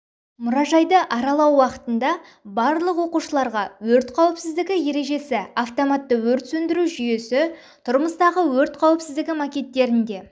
мұражайды аралау уақытында барлық оқушыларға өрт қауіпсіздігі ережесі автоматты өрт сөндіру жүйесі тұрмыстағы өрт қауіпсіздігі макеттерінде